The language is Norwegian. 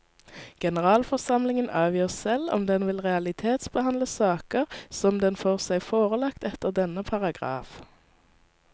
Generalforsamlingen avgjør selv om den vil realitetsbehandle saker som den får seg forelagt etter denne paragraf.